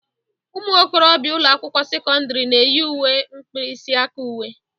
Ụmụ okorobịa ụlọ akwụkwọ sekọndrị na-eyi uwe mkpirisi aka uwe.